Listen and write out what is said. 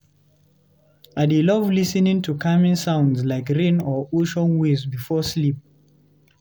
I dey love lis ten ing to calming sounds like rain or ocean waves before sleep.